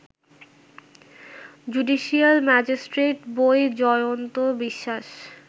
judicial magistrate বৈ জয়ন্ত বিশ্বাস